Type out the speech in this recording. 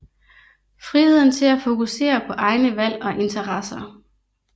Friheden til at fokusere på egne valg og interesser